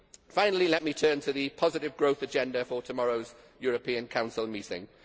Finally, let me turn to the positive growth agenda for tomorrow's European Council Meeting.